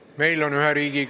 Austatud Riigikogu, tere päevast!